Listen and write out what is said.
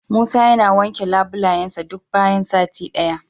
Musa yana wanke labulayensa duk bayan sati daya.